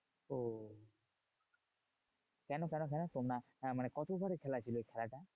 কেন কেন কেন? তোমরা আহ মানে কত over এর খেলা ছিল ওই খেলাটা?